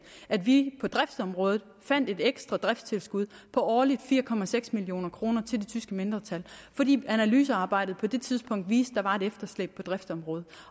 at vi på driftsområdet fandt et ekstra driftstilskud på årligt fire million kroner til det tyske mindretal fordi analysearbejdet på det tidspunkt viste der var et efterslæb på driftsområdet